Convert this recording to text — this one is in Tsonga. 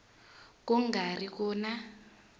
ku nga ri ku na